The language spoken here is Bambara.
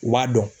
U b'a dɔn